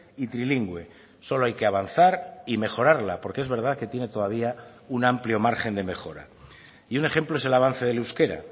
y trilingüe solo hay que avanzar y mejorarla porque es verdad que tiene todavía un amplio margen de mejora y un ejemplo es el avance del euskera